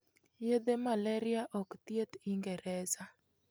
Yadhe Malaria ok thieth ingereza